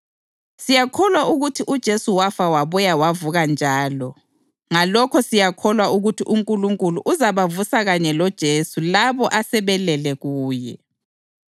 Siyakholwa ukuthi uJesu wafa wabuya wavuka njalo ngalokho siyakholwa ukuthi uNkulunkulu uzabavusa kanye loJesu labo asebelele kuye.